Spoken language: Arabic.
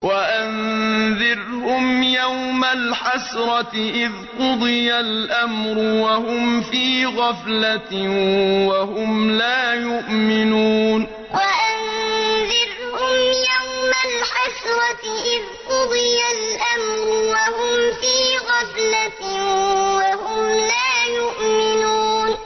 وَأَنذِرْهُمْ يَوْمَ الْحَسْرَةِ إِذْ قُضِيَ الْأَمْرُ وَهُمْ فِي غَفْلَةٍ وَهُمْ لَا يُؤْمِنُونَ وَأَنذِرْهُمْ يَوْمَ الْحَسْرَةِ إِذْ قُضِيَ الْأَمْرُ وَهُمْ فِي غَفْلَةٍ وَهُمْ لَا يُؤْمِنُونَ